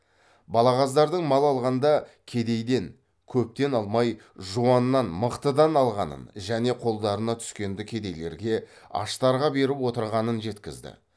балағаздардың мал алғанда кедейден көптен алмай жуаннан мықтыдан алғанын және қолдарына түскенді кедейлерге аштарға беріп отырғанын жеткізді